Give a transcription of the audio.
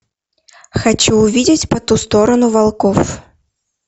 хочу увидеть по ту сторону волков